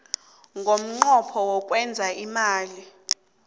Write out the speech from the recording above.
ngomnqopho wokwenza imali